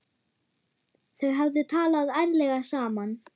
Þau hefðu talað ærlega saman.